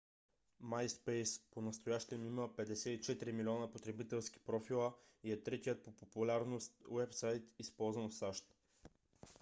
myspace понастоящем има 54 милиона потребителски профила и е третият по популярност уебсайт използван в сащ